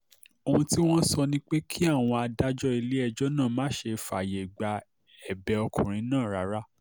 ohun tí wọ́n ń sọ ni pé kí àwọn adájọ́ ilé-ẹjọ́ náà má ṣe fààyè gba ẹ̀bẹ̀ ọkùnrin náà rárá